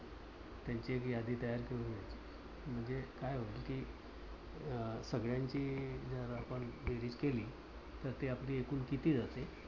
त्यांची एक यादी तयार करून घ्यायची. म्हणजे काय होईल? कि सगळ्यांची जर आपण बेरीज केली तर ते आपले एकूण किती जाते.